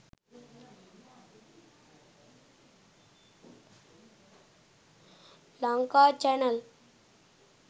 lankachannel